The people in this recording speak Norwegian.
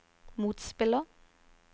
motspiller